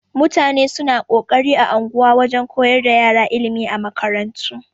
Mutane suna kokarin a unguwa wajan koyar da ƴara ilimi a makarantu.